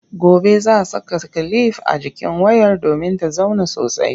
Gobe za a saka kilif a jikin wayar domin ta zauna sosai.